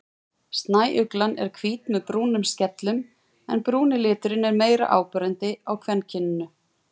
Snæuglan er hvít með brúnum skellum en brúni liturinn er meira áberandi á kvenkyninu.